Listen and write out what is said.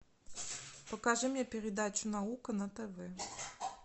покажи мне передачу наука на тв